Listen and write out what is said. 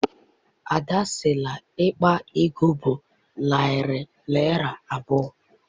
Ada sị na akpa ego bụ narị naịra abụọ.